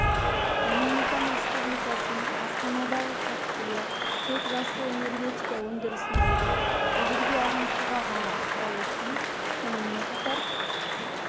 доминикан республикасының астанадағы қатысуы тек жасыл энергетика өндірісіндегі тәжірибе алмасуға ғана ықпал етпей сонымен қатар